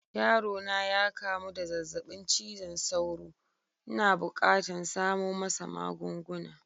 Yaro na ya kamu da zazzabin cizon sauro. N'na bukatan samo masa magunguna.